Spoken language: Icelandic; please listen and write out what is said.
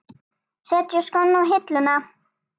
Setja skóna á hilluna?